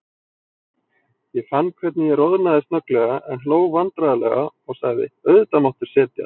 Ég fann hvernig ég roðnaði snögglega, en hló vandræðalega og sagði: Auðvitað máttu setjast.